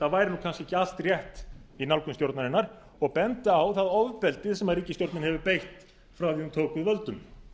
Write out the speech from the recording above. það væri kannski ekki allt rétt í nálgun stjórnarinnar og benda á það ofbeldi sem ríkisstjórnin hefur beitt frá því að hún tók við völdum